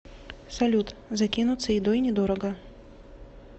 салют закинуться едой недорого